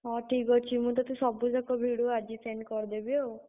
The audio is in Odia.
ହଁ, ଠିକ୍ ଅଛି, ମୁଁ ତତେ ସବୁଯାକ video ଆଜି send କରିଦେବି ଆଉ।